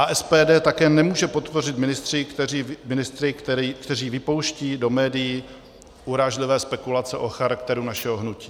A SPD také nemůže podpořit ministry, kteří vypouštějí do médií urážlivé spekulace o charakteru našeho hnutí.